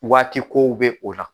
Waati kow bɛ o la.